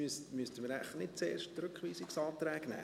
Müssten wir jetzt wohl zuerst die Rückweisungsanträge behandeln?